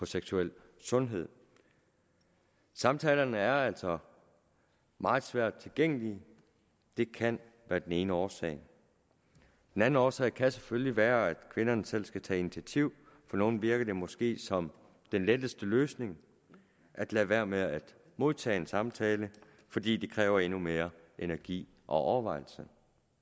seksuel sundhed samtalerne er altså meget svært tilgængelige det kan være den ene årsag den anden årsag kan selvfølgelig også være at kvinderne selv skal tage initiativ på nogle virker det måske som den letteste løsning at lade være med at modtage en samtale fordi det kræver endnu mere energi og overvejelse